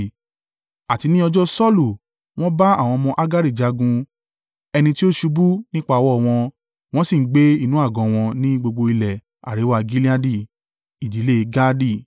Àti ní ọjọ́ Saulu, wọ́n bá àwọn ọmọ Hagari jagun, ẹni tí ó ṣubú nípa ọwọ́ wọn; wọ́n sì ń gbé inú àgọ́ wọn ní gbogbo ilẹ̀ àríwá Gileadi.